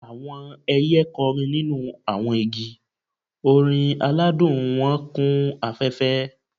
Awọn ẹiyẹ kọrin ninu awọn igi, orin aladun wọn kun afẹfẹ.